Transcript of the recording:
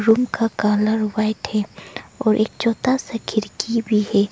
Room का colour white है और एक छोटा सा खिड़की भी है।